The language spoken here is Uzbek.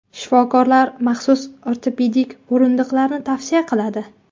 Shifokorlar maxsus ortopedik o‘rindiqlarni tavsiya qiladi.